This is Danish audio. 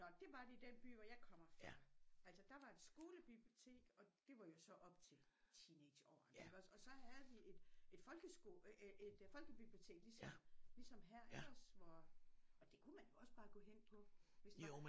Nåh det var det i den by hvor jeg kommer fra altså der var et skolebibliotek og det var jo så op til teenageårene iggås og så havde vi et et folkeskole et folkebibliotek ligesom her iggås hvor og det kunne man jo også bare gå hen på hvis det var